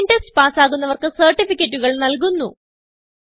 online test പാസ്സാകുന്നവർക്ക് സർട്ടിഫികറ്റുകൾ നല്കുന്നു